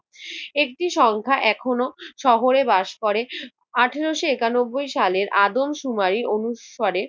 একটি সংখ্যা এখনো শহরে বাস করে। আঠারশ একানব্বই সালে আদমশুমারি অনুসারে